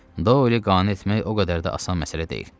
Doyli qane etmək o qədər də asan məsələ deyil.